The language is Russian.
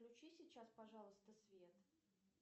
включи сейчас пожалуйста свет